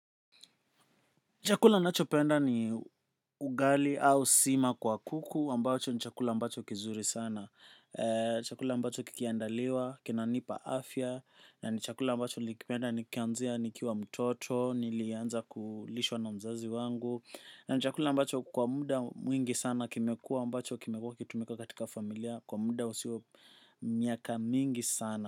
Chakula ninachopenda ni ugali au sima kwa kuku ambacho ni chakula ambacho kizuri sana chakula ambacho kikiandaliwa, kinanipa afya. Na ni chakula ambacho nilikipenda nikianzia nikiwa mtoto, nilianza kulishwa na mzazi wangu. Ni chakula ambacho kwa muda mwingi sana kimekua ambacho kimekua kikitumika katika familia. Kwa muda usio miaka mingi sana.